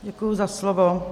Děkuji za slovo.